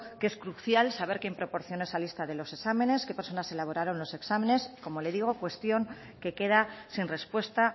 que es crucial saber quién proporciona esa lista de los exámenes qué personas elaboraron los exámenes como le digo cuestión que queda sin respuesta